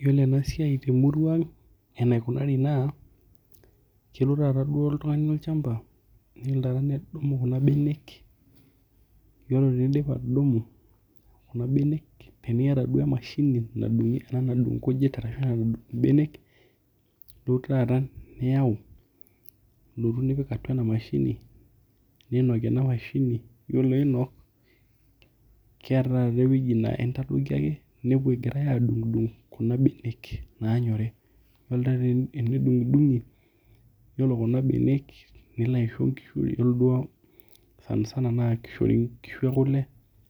Yiolo enasiai temurua aang enaikunari na kelo nai duo oltungani olchamba nilo ake nedungu kunabenek, ore ake piidip atudungu kuna benek, teniata duo emashini nadungu nkujit arashu anadunh mbenek duo taata niyau nilotu nipik atua enamashini ninok ore piinok keeta taata ewoi na intadoki ake nidol egirai adungdung kunabenek nanyori ore taa tenedungdungi ore kuna benek nilo aisho nkishu, ore duo sanisana na kishori nkishu ekule